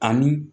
Ani